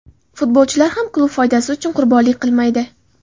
Futbolchilar ham klub foydasi uchun qurbonlik qilmaydi.